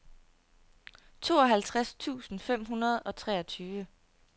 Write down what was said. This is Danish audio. tooghalvtreds tusind fem hundrede og treogtyve